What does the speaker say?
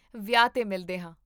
ਵਿਆਹ 'ਤੇ ਮਿਲਦੇ ਹਾਂ